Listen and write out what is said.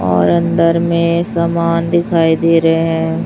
और अंदर में सामान दिखाई दे रहे है।